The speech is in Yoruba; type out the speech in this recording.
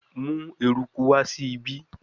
Mu eruku wa si ibi